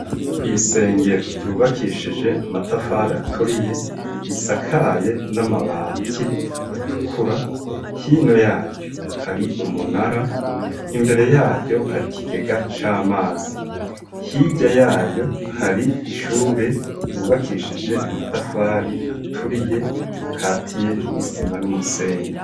Kw'isengero ryubakishije amatafari aturiye risakaye n'amabati atukura hino yayo hari umunara imbere yayo hari ikigega c'amazi hirya yayo hari ishure ryubakishije amatafari aturiye akatiye n'isima n'umusenyi.